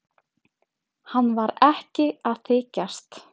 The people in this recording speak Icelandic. Hann var ekki að þykjast.